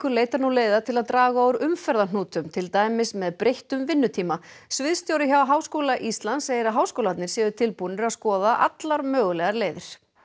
leitar nú leiða til að draga úr umferðarhnútum til dæmis með breyttum vinnutíma sviðsstjóri hjá Háskóla Íslands segir að háskólarnir séu tilbúnir að skoða allar mögulegar leiðir